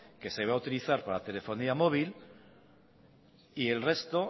que se iba a utilizar para telefonía móvil y el resto